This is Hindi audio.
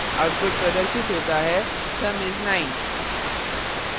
output प्रदर्शित होता है : sum is 9